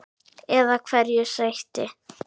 Eða hverju sætti?